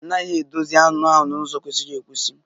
A naghị edozi anụ ahụ n'ụzọ kwesịrị ekwesị.